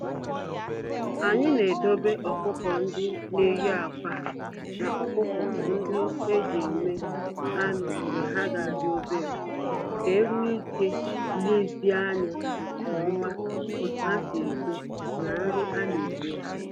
Anyị na edobe ọkụkọ-ndị-neyi-ákwà, na ọkụkọ-ndị-eji-eme-anụ mgbe ha ka di obere, ka enwee ike lezie anya nke oma otu ha si eto, na nri a na enye ha.